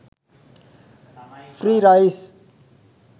free rice